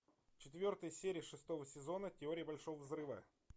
четвертая серия шестого сезона теория большого взрыва